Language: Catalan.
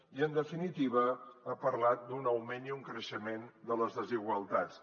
i en definitiva ha parlat d’un augment i un creixement de les desigualtats